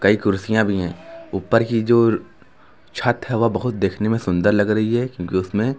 कई कुर्सियां भी हैं ऊपर की जो छत है वह बहुत देखने में सुंदर लग रही है क्योंकि उसमें--